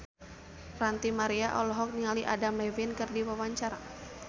Ranty Maria olohok ningali Adam Levine keur diwawancara